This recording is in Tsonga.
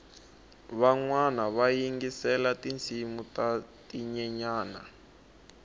vanwana va yingisela tinsimu ta tinyenyani